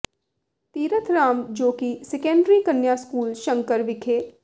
ਤੀਰਥ ਰਾਮ ਜੋ ਕਿ ਸੈਕੰਡਰੀ ਕੰਨਿਆ ਸਕੂਲ ਸ਼ੰਕਰ ਵਿਖੇ